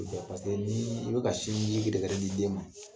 ni i bɛ ka sinji gɛrɛgɛrɛ di den ma